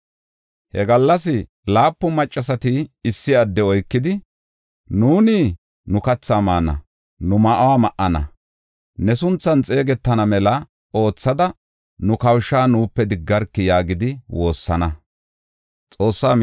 He gallas laapun maccasati issi adde oykidi, “Nuuni nu kathi maana; nu ma7o ma7ana. Ne sunthan xeegetana mela oothada nu kawusha nuupe diggarkii?” yaagidi woossana.